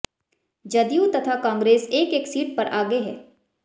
जदयू तथा कांग्रेस एक एक सीट पर आगे हैं